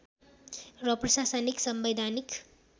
र प्रशासनिक संवैधानिक